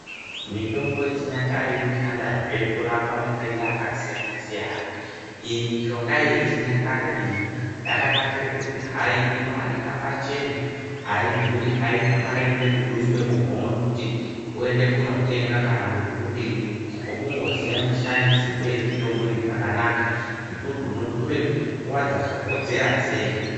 Mitombo yechinyakare inoshandazve kurapa matenda akasiyana-siyana. Iyi mishonga yechinyakare iyi yakanakire pakuti inooneka pachena, aidhuri aina mare inoda kuduswa muhomwe kuti uende kunotenga kana kuti udini, chako kundoziya mishandisirwi yemitombo iyi zvakanaka nekuti unotore nguwa dzakakodzera sei.